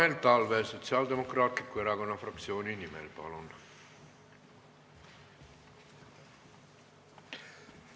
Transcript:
Tanel Talve Sotsiaaldemokraatliku Erakonna fraktsiooni nimel, palun!